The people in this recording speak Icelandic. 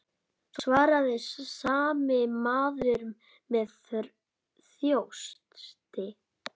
svaraði sami maður með þjósti.